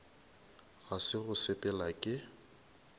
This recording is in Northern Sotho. ga se go sepela ke